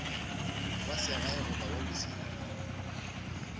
wa segae goba wa bosenyi